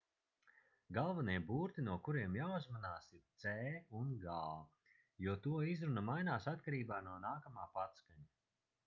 galvenie burti no kuriem jāuzmanās ir c un g jo to izruna mainās atkarībā no nākamā patskaņa